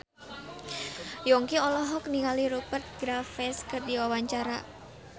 Yongki olohok ningali Rupert Graves keur diwawancara